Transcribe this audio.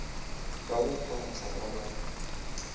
ba go kgwahla ba ba